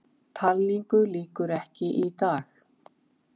Talningu lýkur ekki í dag